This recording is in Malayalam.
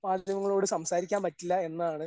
കേരള മാധ്യമങ്ങളോട് സംസാരിക്കാൻ പറ്റില്ല എന്നാണ്